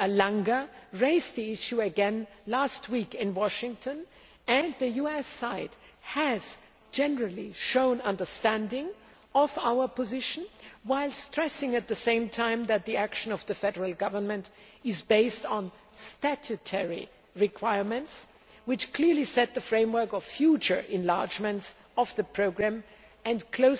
Langer raised the issue again last week in Washington and the US side has generally shown understanding of our position, while stressing at the same time that the action of the Federal Government is based on statutory requirements, which clearly set the framework of future enlargements of the programme and are